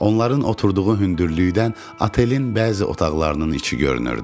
Onların oturduğu hündürlükdən otelin bəzi otaqlarının içi görünürdü.